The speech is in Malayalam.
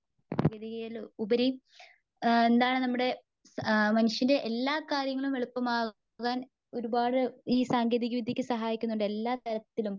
ഗതികേടിലുപരി ആ എന്താണ് നമ്മുടെ ആ മനുഷ്യന്റെ എല്ലാ കാര്യങ്ങളും എളുപ്പമാകുവാൻ ഒരുപാട് ഈ സാങ്കേതിക വിദ്ത്യയൊക്കെ സഹായിക്കുന്നുണ്ട്. എല്ലാത്തരത്തിലും.